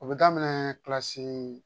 O bɛ daminɛ kilasi